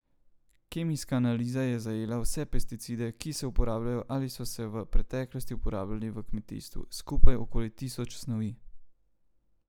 Kemijska analiza je zajela vse pesticide, ki se uporabljajo ali so se v preteklosti uporabljali v kmetijstvu, skupaj okoli tisoč snovi.